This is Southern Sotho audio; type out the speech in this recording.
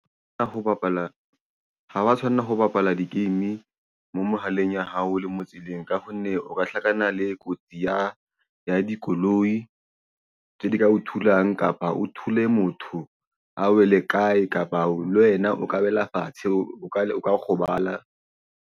Ho bapala ha wa tshwanela ho bapala di-game mo mohaleng wa hao le mo tseleng, ka hobane o ka hlakana le kotsi ya dikoloi tseo di ka o thulang kapa o thole motho a wele kae kapa wena o ka wela fatshe o ka o ka kgobala.